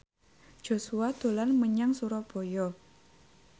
Joshua dolan menyang Surabaya